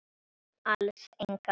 Alls engan.